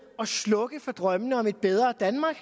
at slukke for drømmene om et bedre danmark